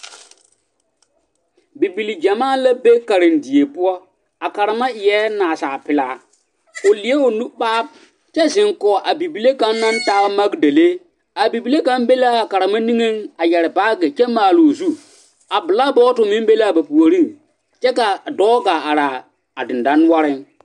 Bibile gyamaa la be karendie poɔ a karema eɛɛ nasalpilaa o leɛ o nu maab kyɛ ziŋ kɔŋ a bibile kaŋ naŋ taa magdelee a bibile kaŋ be laa karema nige a mare baage kyɛ maaloo zu a bilaabɔtɔ meŋ be laa ba puoriŋ kyɛ kaa dɔɔ gaa araa a diŋdɔnoɔriŋ.